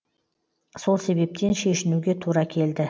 сол себептен шешінуге тура келді